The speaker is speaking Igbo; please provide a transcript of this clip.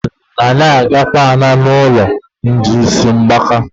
Nna m sị anyị agakwala n'ụlọ ndị ísí mgbaka.